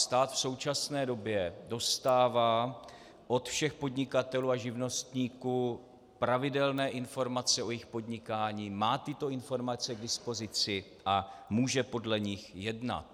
Stát v současné době dostává od všech podnikatelů a živnostníků pravidelné informace o jejich podnikání, má tyto informace k dispozici a může podle nich jednat.